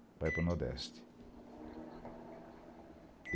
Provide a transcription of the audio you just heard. Para ir para o Nordeste.